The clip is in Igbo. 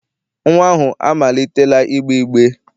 Nnwa ahụ amalitela igbe igbe.